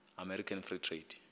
american free trade